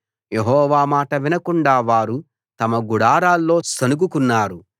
యెహోవా మాట వినకుండా వారు తమ గుడారాల్లో సణుగుకున్నారు